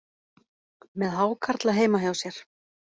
Með hákarla heima hjá sér